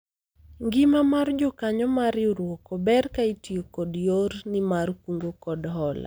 ngima mar jokanyo mar riwruok ober ka itiyo kod yor ni mar kungo kod hola